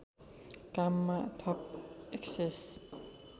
काममा थप एक्सेस